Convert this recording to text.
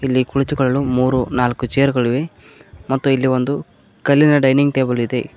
ಇಲ್ಲಿ ಕುಳಿತುಕೊಳ್ಳಲು ಮೂರು ನಾಲ್ಕು ಚೇರುಗಳಿವೆ ಮತ್ತು ಇಲ್ಲಿ ಒಂದು ಕಲ್ಲಿನ ಡೈನಿಂಗ್ ಟೇಬಲ್ ಇದೆ.